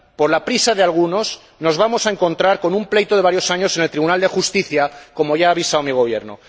Por la prisa de algunos, nos vamos a encontrar con un pleito de varios años en el Tribunal de Justicia, como ya ha avisado mi Gobierno.